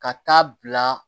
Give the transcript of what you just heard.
Ka taa bila